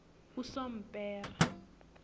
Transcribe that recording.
usompera